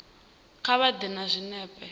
kha vha ḓe na zwinepe